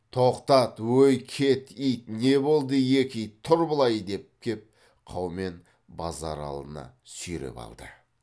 тоқтат ой кет ит не болды екі ит тұр былай деп кеп қаумен базаралыны сүйреп алды